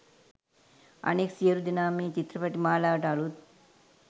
අනෙක් සියළු දෙනාම මේ චිත්‍රපට මාලාවට අළුත්.